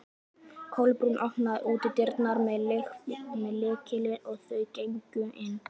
Kolbrún opnaði útidyrnar með lykli og þau gengu inn.